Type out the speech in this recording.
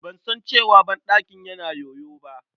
Ban san cewa banɗakin yana yoyo ba.